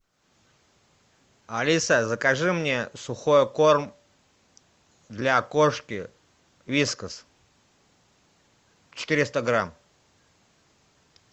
алиса закажи мне сухой корм для кошки вискас четыреста грамм